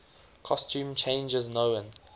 costume changes known